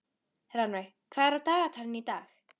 Rannveig, hvað er á dagatalinu í dag?